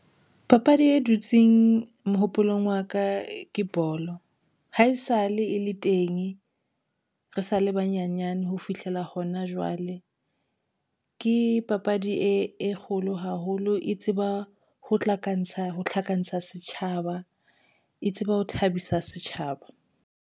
Papadi e dutseng mohopolong wa ka ke bolo haesale e le teng re sa le banyenyane ho fihlela hona jwale ke papadi e kgolo haholo. E tseba ho tlhakantsha tlhakantsha setjhaba e tseba ho thabisa setjhabeng.